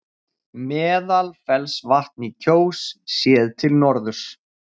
Meðalfellsvatn í Kjós, séð til norðurs.